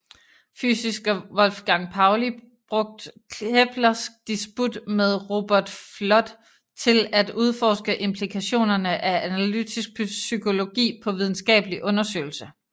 Fysiker Wolfgang Pauli brugt Keplers disput med Robert Fludd til at udforske implikationerne af analytisk psykologi på videnskabelig undersøgelse